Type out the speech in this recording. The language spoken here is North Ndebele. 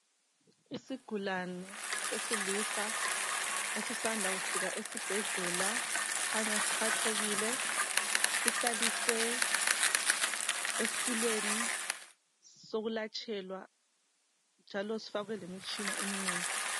Isigulane sesilisa esisanda kufika esibhedlela, sikhanya siphathekile. Sihlaliswe esitulweni sokulatshelwa, njalo sifakwe lemitshina eminengi.